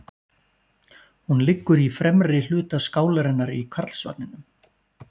Hún liggur í fremri hluta skálarinnar í Karlsvagninum.